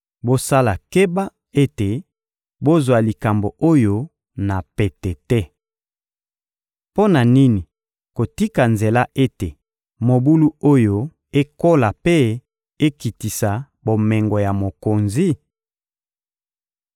Bosala keba ete bozwa likambo oyo na pete te. Mpo na nini kotika nzela ete mobulu oyo ekola mpe ekitisa bomengo ya mokonzi?»